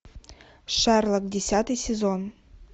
шерлок десятый сезон